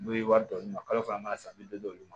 N'u ye wari d'olu ma kalo fila mana san bi duuru